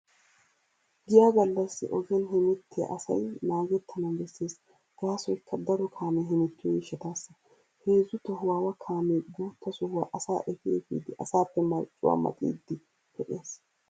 Giya gallassi ogiyaan hemettiyaa asay naagettanawu bessees, gaasoykka daro kaamee hemettiyo gishshataassa. Heezzu tohuwaawa kaamee guutta sohuwaa asaa efi efidi asaappe marccuwaa maxiiddi pe'ees.